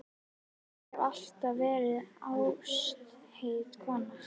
Ég hef alltaf verið ástheit kona.